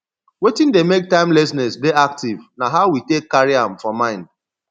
wetin dey make timelessness dey active na how we take carry am for mind